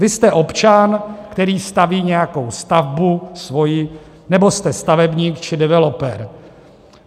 Vy jste občan, který staví nějakou stavbu, svoji, nebo jste stavebník či developer.